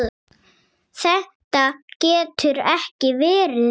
Þetta getur ekki verið rétt.